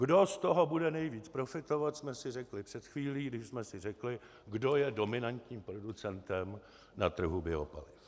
Kdo z toho bude nejvíc profitovat, jsme si řekli před chvílí, když jsme si řekli, kdo je dominantním producentem na trhu biopaliv.